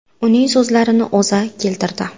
Uning so‘zlarini O‘zA keltirdi .